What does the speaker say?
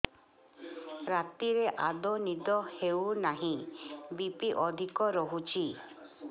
ରାତିରେ ଆଦୌ ନିଦ ହେଉ ନାହିଁ ବି.ପି ଅଧିକ ରହୁଛି